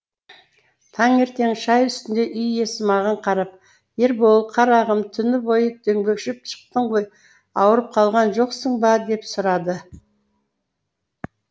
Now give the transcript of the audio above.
таңертең шай үстінде үй иесі маған қарап ербол қарағым түні бойы дөңбекшіп шықтың ғой ауырып қалған жоқсын ба деп сұрады